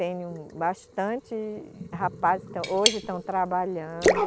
Tenho bastante rapazes estão, hoje estão trabalhando.